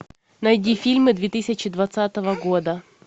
найди фильмы две тысячи двадцатого года